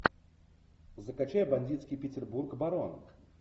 закачай бандитский петербург барон